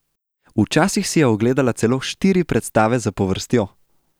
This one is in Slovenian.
Včasih si je ogledala celo štiri predstave zapovrstjo.